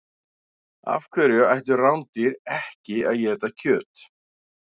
Af hverju ættu rándýr ekki að éta kjöt?